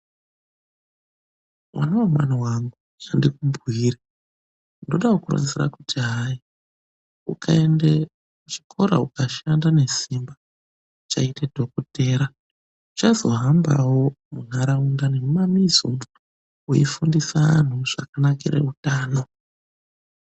Mwana wemwana wangu, ngandikubhire. Ndoda kukuronzera kuti hai ukaende kuchikora ukashanda nesimba, uchaite dhokodheya. Uchazohambawo munharaunda nemumamizi umu, weifundise antu zvakanakire utano.